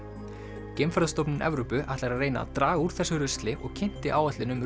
geimferðastofnun Evrópu ætlar að reyna að draga úr þessu rusli og kynnti áætlun um